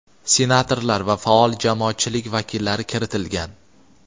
senatorlar va faol jamoatchilik vakillari kiritilgan.